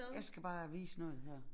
Jeg skal bare vise noget her